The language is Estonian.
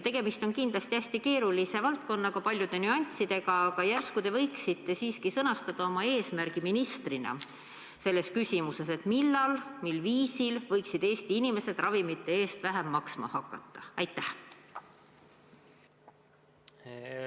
Tegemist on kindlasti hästi keerulise valdkonnaga, paljude nüanssidega, aga järsku te ministrina võiksite siiski sõnastada oma eesmärgi selles küsimuses: millal ja mil viisil võiksid Eesti inimesed ravimite eest vähem maksma hakata?